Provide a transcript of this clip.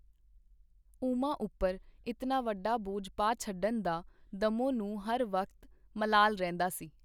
ਉਮਾ ਉਪਰ ਇਤਨਾ ਵੱਡਾ ਬੋਝ ਪਾ ਛੱਡਣ ਦਾ ਦੱਮੋਂ ਨੂੰ ਹਰ ਵਕਤ ਮਲਾਲ ਰਹਿੰਦਾ ਸੀ.